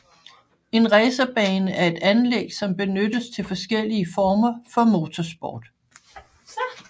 En racerbane er et anlæg som benyttes til forskellige former for motorsport